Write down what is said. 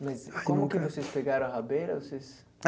Mas como que vocês pegaram a rabeira? Vocês